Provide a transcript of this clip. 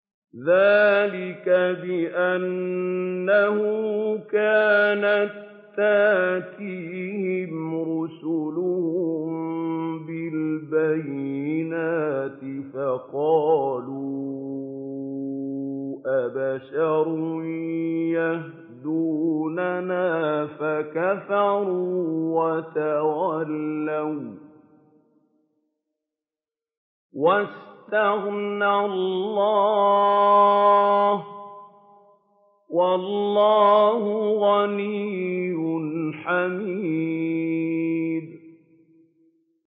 ذَٰلِكَ بِأَنَّهُ كَانَت تَّأْتِيهِمْ رُسُلُهُم بِالْبَيِّنَاتِ فَقَالُوا أَبَشَرٌ يَهْدُونَنَا فَكَفَرُوا وَتَوَلَّوا ۚ وَّاسْتَغْنَى اللَّهُ ۚ وَاللَّهُ غَنِيٌّ حَمِيدٌ